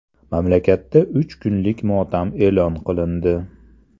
Mamlakatda uch kunlik motam e’lon qilindi .